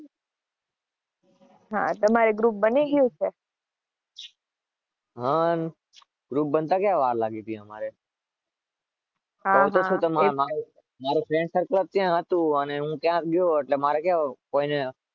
હા, તમારે ગ્રુપ બની ગયું છે?